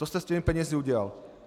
To jste s těmi penězi udělal.